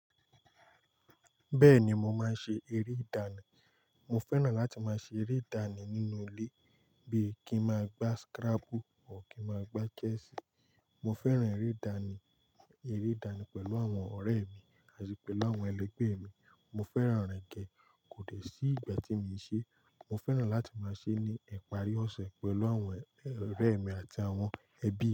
Bẹ́ẹ̀ni mo máa ń ṣe eré ìdánì. Mo fẹ́ràn láti máa ṣe eré ìdánì nínú ilé bíi kí ń máa gbá scrabble or kí ń máa gbá chess. Mo fẹ́ràn eré ìdánì, eré ìdánì pẹ̀lú àwọn ọ̀rẹ́ mi àti pẹ̀lú àwọn ẹlẹgbẹ́ mi. Mo fẹ́ràn rẹ̀ gẹ́, kò dẹ̀ sí ìgbà tíì mi ò ṣe. Mo fẹ́ràn láti máa ṣe é ní ìparí ọ̀sẹ̀ pẹ̀lú àwọn ọ̀rẹ́ mi àti àwọn ẹbí.